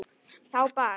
Þá bar